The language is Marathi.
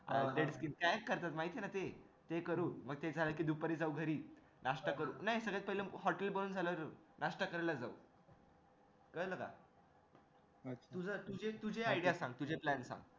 माहिती आहे ना ते ते करू मग ते झाले कि दुपारी जाऊ घरी नास्ता करू नाय सगळ्यात पहिले HOTEL बंद झाल्यावर जाऊ नास्ता करायला जाऊ कळलं का तुझं तुझे तुझे idea सांग plans सांग